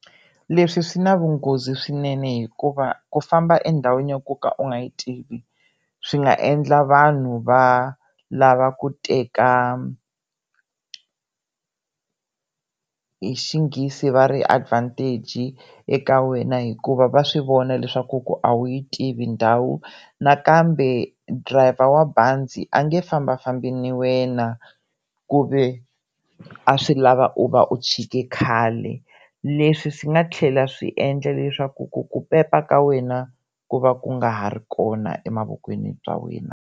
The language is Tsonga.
Leswi swi na vunghozi swinene hikuva ku famba endhawina ya ku ka u nga yi tivi swi nga endla vanhu va lava ku teka hi xinghezi va ri i advantage eka wena hikuva va swi vona leswaku ku a wu yi tivi ndhawu nakambe dirayiva wa bazi a nge fambafambi na wena ku ve a swi lava u va u chike khale, leswi swi nga tlhela swi endla leswaku ku ku pepa ka wena ku va ku nga ha ri kona emavokweni bya wena.